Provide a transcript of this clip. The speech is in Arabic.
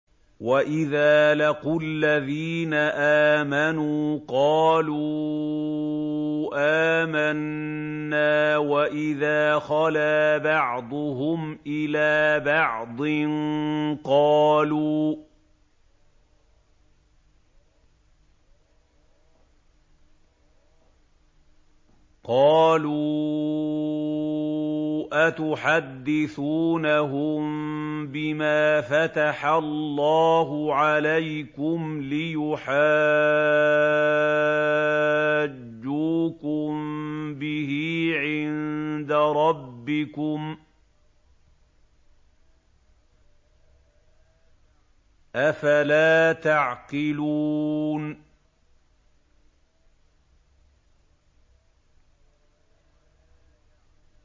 وَإِذَا لَقُوا الَّذِينَ آمَنُوا قَالُوا آمَنَّا وَإِذَا خَلَا بَعْضُهُمْ إِلَىٰ بَعْضٍ قَالُوا أَتُحَدِّثُونَهُم بِمَا فَتَحَ اللَّهُ عَلَيْكُمْ لِيُحَاجُّوكُم بِهِ عِندَ رَبِّكُمْ ۚ أَفَلَا تَعْقِلُونَ